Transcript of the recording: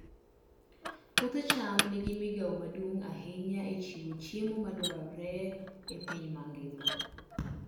Puoth cham nigi migawo maduong' ahinya e chiwo chiemo madwarore e piny mangima.